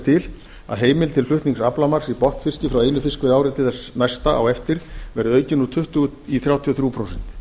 til að heimild til flutnings aflamarks í botnfiski frá einu fiskveiðiári til þess næsta á eftir verði aukin úr tuttugu í þrjátíu og þrjú prósent